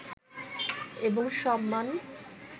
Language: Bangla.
এবং সম্মান